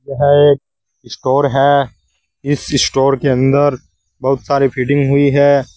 यह स्टोर है इस स्टोर के अंदर बहुत सारे फिटिंग हुई है।